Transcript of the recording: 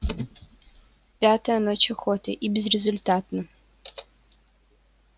пятая ночь охоты и всё безрезультатно